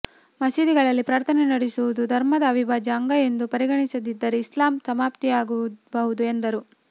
ಮಸೀದಿಗಳಲ್ಲಿ ಪ್ರಾರ್ಥನೆ ನಡೆಸುವುದು ಧರ್ಮದ ಅವಿಭಾಜ್ಯ ಅಂಗ ಎಂದು ಪರಿಗಣಿಸದಿದ್ದರೆ ಇಸ್ಲಾಂ ಸಮಾಪ್ತಿಯಾಗಬಹುದು ಎಂದರು